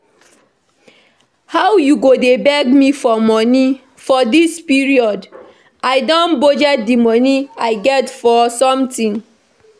How you go dey beg me money for dis period and I don budget the money I get for something